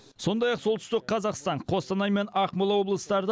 сондай ақ солтүстік қазақстан қостанай мен ақмола облыстарда